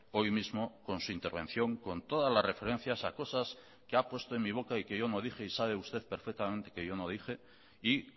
hoy mismo con su intervención con todas las referencias a cosas que ha puesto en mi boca y que yo no dije y sabe usted perfectamente que yo no dije y